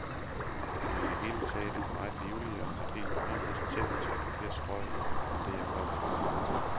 Det er i det hele taget et meget livligere, et helt anderledes tæt trafikeret strøg end det, jeg kom fra.